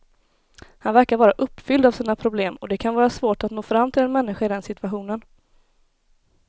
Han verkar vara uppfylld av sina problem och det kan vara svårt att nå fram till en människa i den situationen.